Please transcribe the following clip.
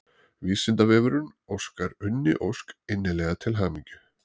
Vísindavefurinn óskar Unni Ósk innilega til hamingju.